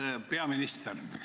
Auväärt peaminister!